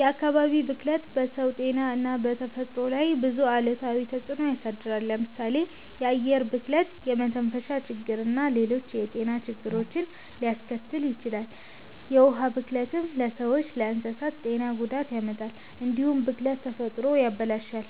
የአካባቢ ብክለት በሰው ጤና እና በተፈጥሮ ላይ ብዙ አሉታዊ ተጽዕኖ ያሳድራል። ለምሳሌ የአየር ብክለት የመተንፈሻ ችግርና ሌሎች የጤና ችግሮችን ሊያስከትል ይችላል። የውሃ ብክለትም ለሰዎችና ለእንስሳት ጤና ጉዳት ያመጣል። እንዲሁም ብክለት ተፈጥሮን ያበላሻል፣